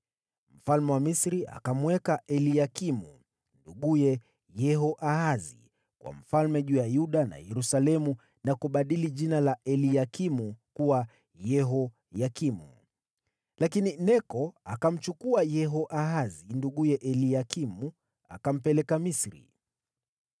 Mfalme wa Misri akamweka Eliakimu, nduguye Yehoahazi, kuwa mfalme juu ya Yuda na Yerusalemu na kubadili jina la Eliakimu kuwa Yehoyakimu. Lakini Neko akamchukua Yehoahazi, Nduguye Eliakimu akampeleka Misri.